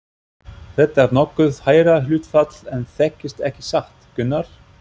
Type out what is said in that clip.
Þetta er nokkuð hærra hlutfall en þekkist ekki satt, Gunnar?